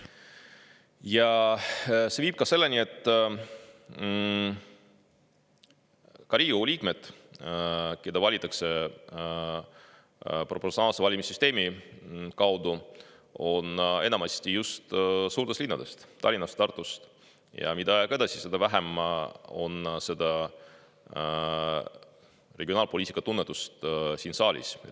Ja see viib selleni, et ka Riigikogu liikmed, keda valitakse proportsionaalse valimissüsteemi kaudu, on enamasti just suurtest linnadest – Tallinnast, Tartust – ja mida aeg edasi, seda vähem on regionaalpoliitika tunnetust siin saalis.